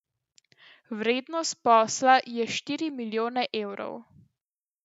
Vrednost posla je štiri milijone evrov.